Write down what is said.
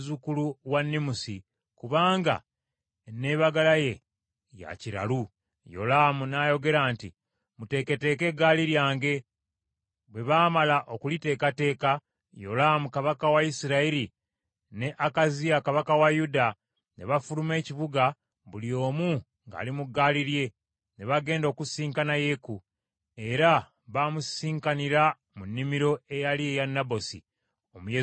Yolaamu n’ayogera nti, “Muteeketeeke eggaali lyange.” Bwe baamala okuliteekateeka, Yolaamu kabaka wa Isirayiri ne Akaziya kabaka wa Yuda, ne bafuluma ekibuga, buli omu ng’ali mu ggaali lye, ne bagenda okusisinkana Yeeku, era baamusisinkanira mu nnimiro eyali eya Nabosi Omuyezuleeri.